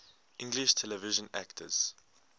english television actors